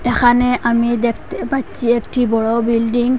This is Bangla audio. এখানে আমি দেখতে পাচ্ছি একটি বড় বিল্ডিং ।